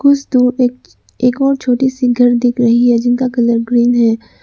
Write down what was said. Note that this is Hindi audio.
कुछ दूर एक एक और छोटी सी घर दिख रही है जिनका कलर ग्रीन है।